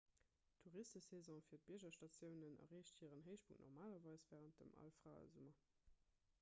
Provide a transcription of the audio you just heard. d'touristesaison fir d'biergstatiounen erreecht hiren héichpunkt normalerweis wärend dem alfraesummer